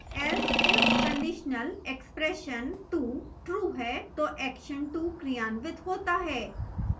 else if conditionalexpression2 true है तो action 2 क्रियान्वित होता है